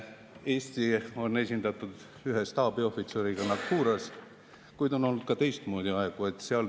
Eesti on esindatud ühe staabiohvitseriga Naqouras, kuid on olnud ka teistmoodi aegu.